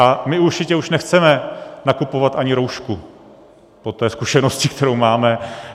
A my určitě už nechceme nakupovat ani roušku po té zkušenosti, kterou máme.